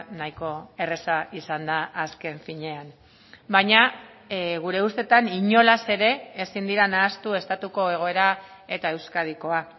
nahiko erraza izan da azken finean baina gure ustetan inolaz ere ezin dira nahastu estatuko egoera eta euskadikoa